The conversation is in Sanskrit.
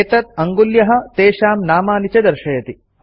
एतत् अङ्गुल्यः तेषां नामनि च दर्शयति